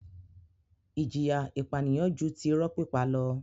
Ìjìyà ìpànìyàn ju ti irọ́ pípa lọ.